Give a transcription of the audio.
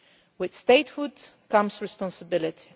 With statehood comes responsibility.